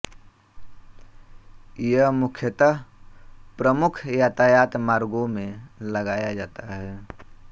यह मुख्यतः प्रमुख यातायात मार्गों में लगाया जाता है